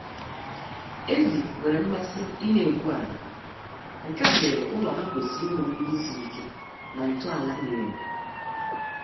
Ezi nwere mmasị ịna-egwu ala, nkea mere ụlọ ha kwesịrị inwe mgbidi siri ike na ntọala miri emi